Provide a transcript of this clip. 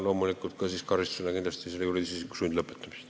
Loomulikult võib karistusena kaaluda ka juriidilise isiku sundlõpetamist.